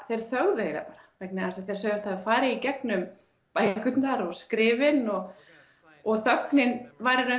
þeir þögðu bara vegna þess að þeir sögðust hafa farið í gegnum bækurnar og skrifin og og þögnin væri í raun